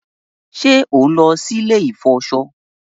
ṣe on ló sì ilé ilè ifọṣọ?